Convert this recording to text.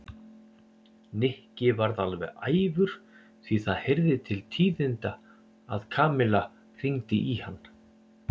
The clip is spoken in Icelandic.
Nikki varð alveg æfur því það heyrði til tíðinda að Kamilla hringdi í hann.